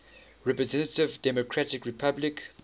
representative democratic republic